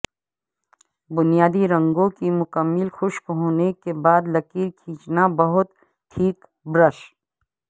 بنیادی رنگوں کی مکمل خشک ہونے کے بعد لکیر کھینچنا بہت ٹھیک برش